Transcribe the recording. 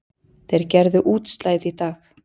Þeir gerðu útslagið í dag